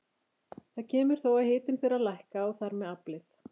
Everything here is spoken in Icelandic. Þar kemur þó að hitinn fer að lækka og þar með aflið.